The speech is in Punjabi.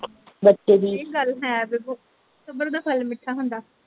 ਬਚੇ ਦੀ ਇਹ ਗਲ ਹੈ ਦੇਖੋ ਸਬਰ ਦਾ ਫਲ ਮੀਠਾ ਹੁੰਦਾ।